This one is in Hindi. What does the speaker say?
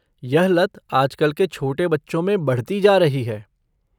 यह लत आजकल के छोटे बच्चों में बढ़ती जा रही है।